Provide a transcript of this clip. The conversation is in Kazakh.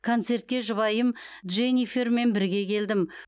концертке жұбайым дженифермен бірге келдім